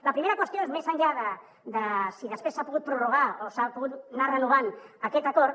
la primera qüestió és més enllà de si després s’ha pogut prorrogar o s’ha pogut anar renovant aquest acord